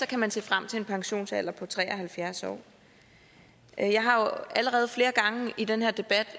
kan man se frem til en pensionsalder på tre og halvfjerds år jeg har allerede flere gange i den her debat